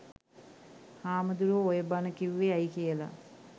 හාමුදුරුවෝ ඔය බණ කීවේ ඇයි කියලා